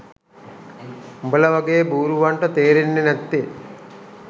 උඹල වගේ බූරුවන්ට තේරෙන්නෙ නැත්තෙ.